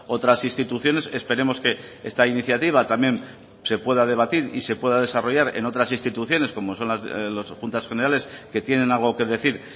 otras instituciones esperemos que esta iniciativa también se pueda debatir y se pueda desarrollar en otras instituciones como son las juntas generales que tienen algo que decir